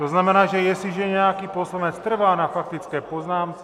To znamená, že jestliže nějaký poslanec trvá na faktické poznámce...